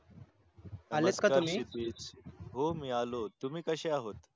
हो मी आलो तुम्ही कशे आहात